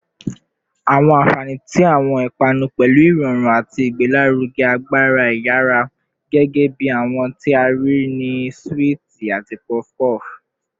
Awọn anfani ti awọn ipanu pẹlu irọrun ati awọn igbelaruge agbara iyara, gẹgẹbi awọn ti a rii ni suwiti ati puff puff